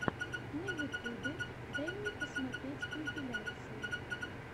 на ютюбе дай мне посмотреть компиляции